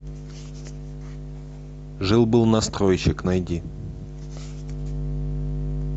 жил был настройщик найди